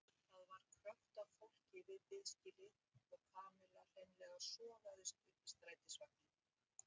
Það var krökkt af fólki við biðskýlið og Kamilla hreinlega sogaðist upp í strætisvagninn.